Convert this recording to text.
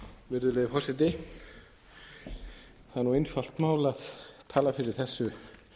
virðulegi forseti það er einfalt mál að tala fyrir þessu